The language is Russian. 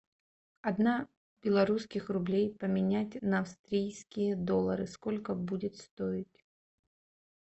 одна белорусских рублей поменять на австрийские доллары сколько будет стоить